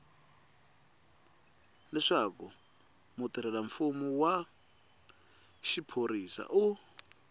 leswaku mutirhelamfumo wa xiphorisa u